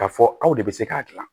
K'a fɔ aw de bɛ se k'a dilan